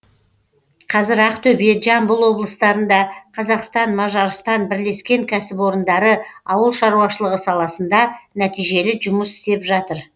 қазір ақтөбе жамбыл облыстарында қазақстан мажарстан бірлескен кәсіпорындары ауыл шаруашылығы саласында нәтижелі жұмыс істеп жатыр